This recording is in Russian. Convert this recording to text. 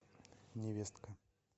невестка